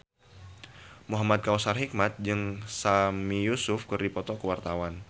Muhamad Kautsar Hikmat jeung Sami Yusuf keur dipoto ku wartawan